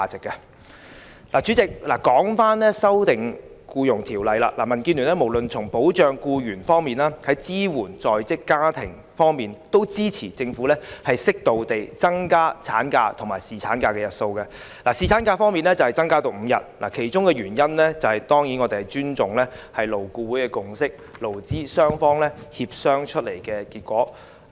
代理主席，說回《條例草案》，民主建港協進聯盟無論是從保障僱員或支援在職家庭方面，均支持政府適度增加產假及侍產假的日數，例如把侍產假增至5天的其中一個原因，是我們尊重勞工顧問委員會的共識，這是經勞資雙方協商的結果。